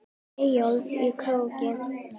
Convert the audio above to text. Eyjólf í Króki.